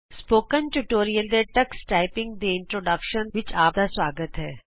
spoken tutorial ਦੇ Tux typing ਦੀ introduction ਵਿਚ ਆਪ ਦਾ ਸੁਆਗਤ ਹੈ